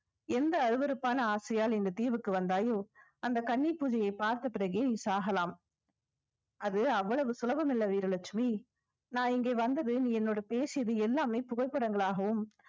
எந்த அருவருப்பான ஆசையால் இந்த தீவுக்கு வந்தாயோ அந்த கன்னிப் பூஜையை பார்த்த பிறகே நீ சாகலாம் அது அவ்வளவு சுலபம் இல்ல வீரலட்சுமி நான் இங்கே வந்தது நீ என்னோட பேசியது எல்லாமே புகைப்படங்களாகவும்